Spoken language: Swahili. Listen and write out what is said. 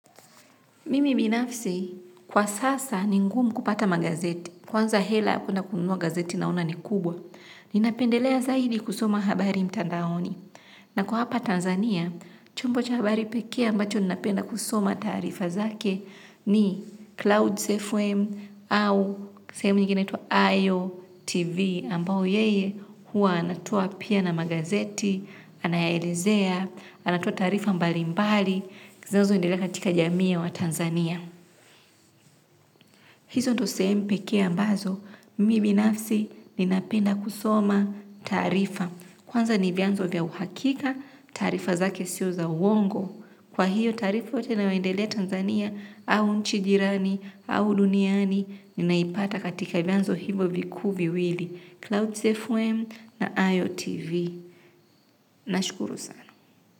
Mimi binafsi, kwa sasa ni ngumu kupata magazeti, kwanza hela kwenda kununua gazeti naona ni kubwa. Ninapendelea zaidi kusoma habari mtandaoni. Na kwa hapa Tanzania, chombo cha habari pekee ambacho ninapenda kusoma taarifa zake ni Clouds fm au sahemu nyingine inatwa Ayo Tv ambao yeye hua anatoa pia na magazeti, anayaelezea, anatoa taarifa mbali mbali. Zinanzo endelea katika jamii ya wa Tanzania. Hizo ndo sehemu pekee ambazo, mimi binafsi ninapenda kusoma taarifa. Kwanza niviyanzo vya uhakika, taarifa zake siyo za uongo. Kwa hiyo taarifa yote inayoendelea Tanzania, au nchi jirani, au duniani, ninaipata katika vyanzo hivo vikuu viwili. Clouds FM na IOTV. Nashukuru sana.